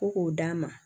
Ko k'o d'a ma